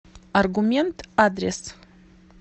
аргумент адрес